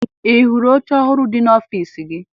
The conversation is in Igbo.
Ị hụrụ oche ọhụrụ dị n'ọfiisi gị?